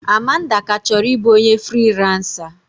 Amanda ka chọrọ ịbụ onye friiransa.